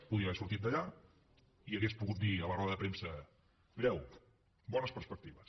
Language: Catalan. podia haver sortit d’allà i hauria pogut dir a la roda de premsa mireu bones perspectives